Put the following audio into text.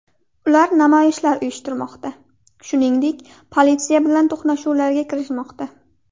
Ular namoyishlar uyushtirmoqda, shuningdek, politsiya bilan to‘qnashuvlarga kirishmoqda.